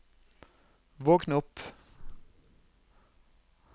våkn opp